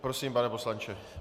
Prosím, pane poslanče.